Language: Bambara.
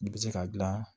I bɛ se ka dilan